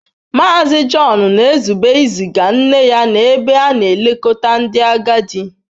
Mazị John na-ezube iziga nne ya n'ebe a na-elekọta ndị agadi.